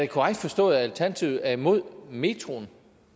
korrekt forstået at alternativet er imod metroen